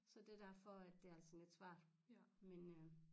Så det derfor at det er sådan lidt svært men øh